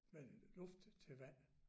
Men luft til vand